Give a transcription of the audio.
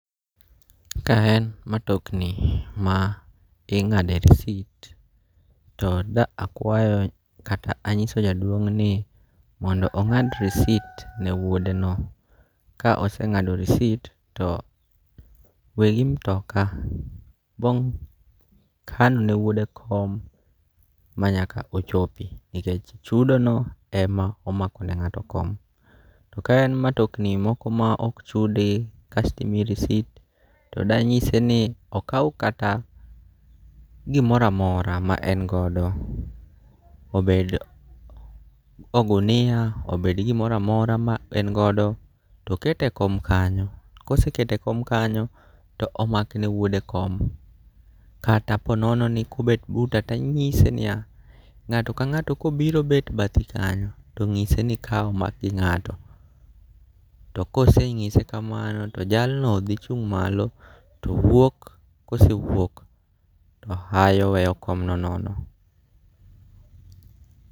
Ka en matokni ma ing'ade risit to da akwayo kata anyiso jaduong' ni mondo ong'ad risit ne wuode no. Ka oseng'ado risit to wegi mtoka bo kanone wuode kom ma nyaka ochopi, nikech chudo no ema omakone ng'ato kom. To kaen matokni moko ma ok chude, kasto imiyi risit, to danyise ni okaw kata gimoramora ma en go obed ogunia, obed gimoramora ma en godo, tokete kom kanyo. Kosekete kom kanyo, to makne go wuode kom. Kaa ponono ni kobet buta tanyise niya, ng'ato ka ng'ato kobiro bet bathi kanyo, to ng'ise ni ka omak gi ng'ato. To koseng'ise kamano to jalno dhi chung' malo, to wuok, kosewuok to hayo weyo komno nono.